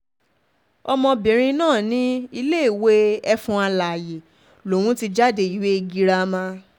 ọmọbìnrin náà ní iléèwé éfọ̀n alààyè lòún ti jáde ìwé girama